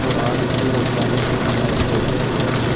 ஒரு ஆளு கீழ உக்காந்து துணி எல்லா எடுத்து வச்சுட்டுருக்காரு.